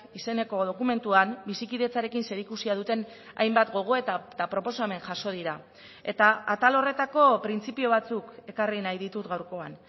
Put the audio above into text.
izeneko dokumentuan bizikidetzarekin zerikusia duten hainbat gogoeta eta proposamen jaso dira eta atal horretako printzipio batzuk ekarri nahi ditut gaurkoan